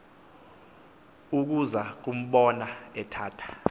ukuza kumbona ithatha